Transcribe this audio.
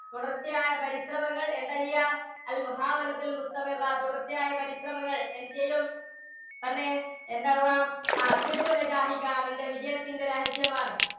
തുടർച്ചയായ പരിശ്രമങ്ങൾ എന്താ ചെയ്യുക? തുടർച്ചയായ പരിശ്രമങ്ങൾ എന്തുചെയ്യും? പറഞ്ഞേ? എന്താ ആവുക? നിന്റെ വിജയത്തിൻറെ രഹസ്യം ആണ്